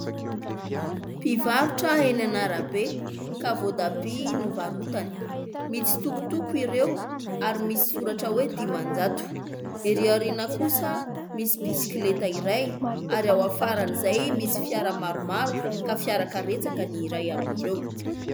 Mpivarotra eny an'arabe ka voatabia no varotany, mitsitokotoko ireo ary misy soratra hoe dimanjato; ery aoriana kosaf misy bisikileta iray ary ao afaran'izay misy fiara maromaro ka fiara-karetsaka ny iray amin'ireo.